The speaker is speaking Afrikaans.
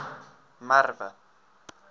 merwe